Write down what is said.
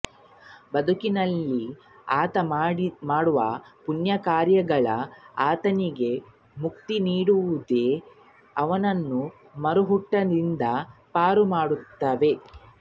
ಬದುಕಿನಲ್ಲಿ ಆತ ಮಾಡುವ ಪುಣ್ಯಕಾರ್ಯಗಳು ಆತನಿಗೆ ಮುಕ್ತಿ ನೀಡುತ್ತವಲ್ಲದೇ ಅವನನ್ನು ಮರುಹುಟ್ಟಿನಿಂದ ಪಾರು ಮಾಡುತ್ತವೆ